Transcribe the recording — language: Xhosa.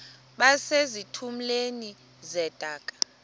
base zitulmeni zedaka